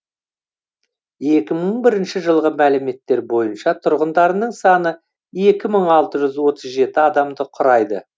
екі мың бірінші жылғы мәліметтер бойынша тұрғындарының саны екі мың алты жүз отыз жеті адамды құрайды